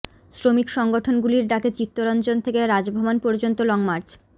শ্রমিক সংগঠনগুলির ডাকে চিত্তরঞ্জন থেকে রাজভবন পর্যন্ত লং মার্চ